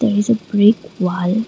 it is a brick wall.